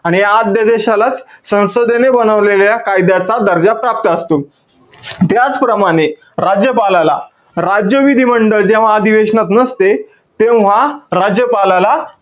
आणि ह्या आद्यदेशालाच संसदेने बनवलेल्या कायद्याचा दर्जा, प्राप्त असतो. त्याचप्रमाणे, राज्यपालाला राज्य विधिमंडळ जेव्हा अधिवेशनात नसते, तेव्हा राज्यपालाला,